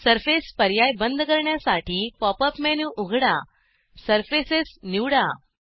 surface पर्याय बंद करण्यासाठी पॉप अप मेनू उघडा सर्फेसेस निवडा